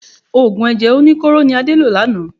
Òògùn ẹ̀jẹ̀ oníkóró ni Ade lò lánàá.